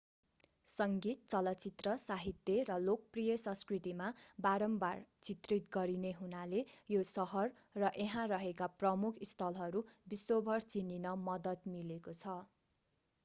सङ्गीत चलचित्र साहित्य र लोकप्रिय संस्कृतिमा बारम्बार चित्रित गरिने हुनाले यो सहर र यहाँ रहेका प्रमुख स्थलहरू विश्वभर चिनिन मद्दत मिलेको छ